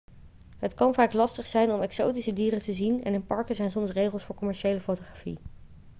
het kan vaak lastig zijn om exotische dieren te zien en in parken zijn soms regels voor commerciële fotografie